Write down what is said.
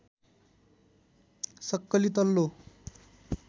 सक्कली तल्लो